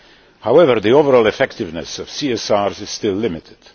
However, the overall effectiveness of CSRs is still limited.